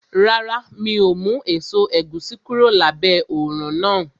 Rárá, mi ò mú èso ẹ̀gúsí kúrò lábẹ́ òrùn náà